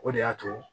O de y'a to